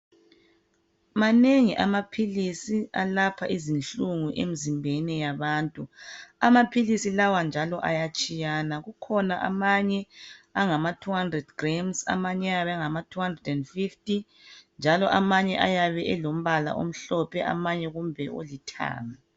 Manengi amaphilisi alapha izinhlungu emizimbeni yabantu amaphilisi lawa njalo ayatshiyana kukhona amanye angama200g amanye ayabe engama 250 njalo amanye ayabe elombala omhlophe amanye kumbe olithanga.